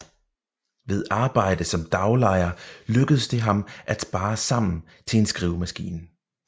Ved arbejde som daglejer lykkedes det ham at spare sammen til en skrivemaskine